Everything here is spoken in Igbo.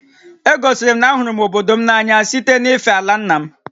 E gosiri m na a hụrụ m obodo m n'anya site na-ife àlà ńnà m